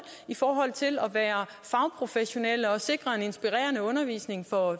i forhold til at være fagprofessionelle og sikre en inspirerende undervisning for